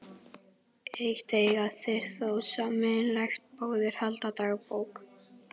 Eitt eiga þeir þó sameiginlegt- báðir halda dagbók.